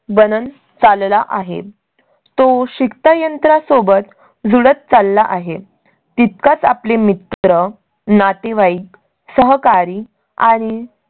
बनन चालला आहे. तो शिकता यंत्रा सोबत जुळत चालला आहे तितकाच आपले मित्र, नातेवाईक, सहकारी आणि.